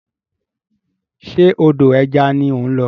Ṣe odò ẹja ni ó ń lọ?